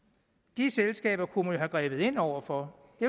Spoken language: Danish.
de selskaber kunne have grebet ind over for det